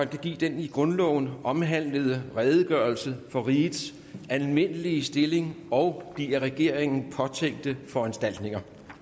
kan give den i grundloven omhandlede redegørelse for rigets almindelige stilling og de af regeringen påtænkte foranstaltninger